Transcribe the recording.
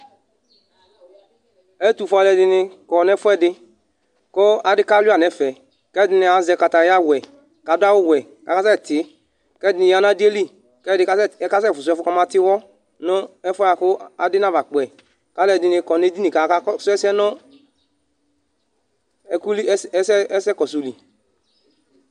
ɛtofue aloɛdini kɔ no ɛfoɛdi ko adi kalua n'ɛfɛ k'ɛdini azɛ kataya wɛ k'ado awu wɛ k'akasɛ ti k'ɛdini ya n'adiɛ li k'ɛdi kasɛ fusu ɛfo kama tiwɔ no ɛfoa boa ko adi naba kpɔɛ ko aloɛdini kɔ n'edini ko aka su ɛsɛ no ɛko li ɛsɛ kɔso li